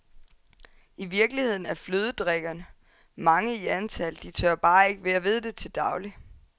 I virkeligheden er flødedrikkerne mange i antal, de tør bare ikke være ved det til daglig.